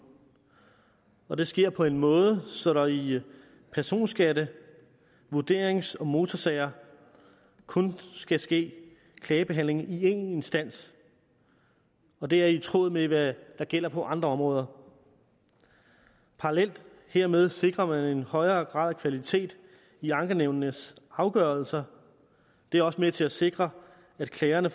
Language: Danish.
og det sker på en måde så der i personskatte vurderings og motorsager kun skal ske klagebehandling i én instans og det er i tråd med hvad der gælder på andre områder parallelt hermed sikrer man en højere grad af kvalitet i ankenævnenes afgørelser det er også med til at sikre at klagerne